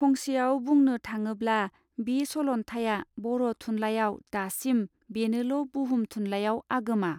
फंसेयाव बुंङन थाङोब्ला बी सलन्थाइया बर थुनलाइयाव दासिम बेनोल बुहुम थुनलइयाव आगोमा.